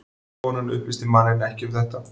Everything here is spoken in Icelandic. Konan upplýsti manninn ekki um þetta